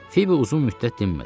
Fibi uzun müddət dinmədi.